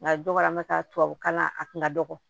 Nka dɔ kɛra an bɛ taa tubabu kalan a kun ka dɔgɔ